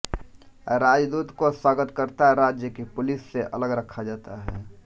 राजदूत को स्वागतकर्त्ता राज्य की पुलिस से अलग रखा जाता है